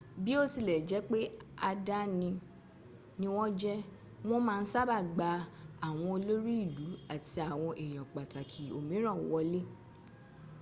biotilejepe àdání ni wọ́n jẹ́ wọ́n ma n sábà gba àwọn olórí ìlú àti àwọn èyàn pàtàkì òmíràn wọlé